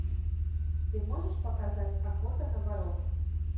ты можешь показать охота на воров